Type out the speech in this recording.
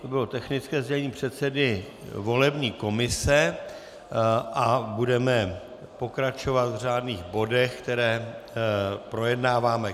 To bylo technické sdělení předsedy volební komise a budeme pokračovat v řádných bodech, které projednáváme.